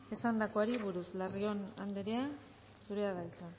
esandakoari buruz larrion andrea zurea da hitza